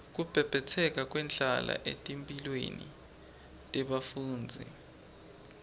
kubhebhetseka kwendlala etimphilweni tebafundzi